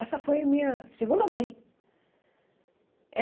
Essa foi a minha segunda mãe.